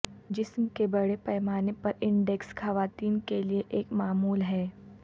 جسم کے بڑے پیمانے پر انڈیکس خواتین کے لئے ایک معمول ہے